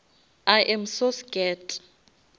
i am so scared